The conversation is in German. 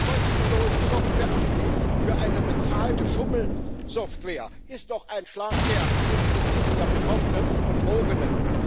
Ein kostenloses Software Update für eine bezahlte Schummelsoftware ist doch ein Schlag ins Gesicht der Betroffenen und Betrogenen.